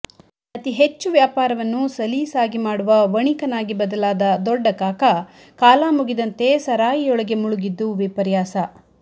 ಅತಿಹೆಚ್ಚು ವ್ಯಾಪಾರವನ್ನು ಸಲೀಸಾಗಿ ಮಾಡುವ ವಣಿಕನಾಗಿ ಬದಲಾದ ದೊಡ್ಡಕಾಕ ಕಾಲಮುಗಿದಂತೆ ಸರಾಯಿಯೊಳಗೆ ಮುಳುಗಿದ್ದು ವಿಪರ್ಯಾಸ